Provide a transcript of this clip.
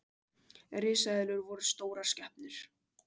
Risaeðlur voru stórar skepnur.